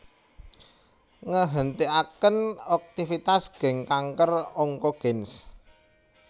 Ngehentiaken aktivitas gen kanker Oncogenes